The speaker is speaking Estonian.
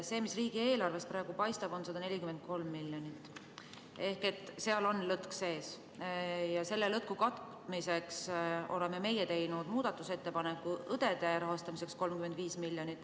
See, mis riigieelarvest praegu paistab, on 143 miljonit ehk seal on lõtk sees ja selle lõtku katmiseks oleme meie teinud 35 miljonit maksva muudatusettepaneku õdede rahastamiseks.